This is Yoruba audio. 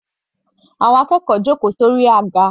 Àwọn akẹ́kọ̀ọ́ jòkó sórí àga.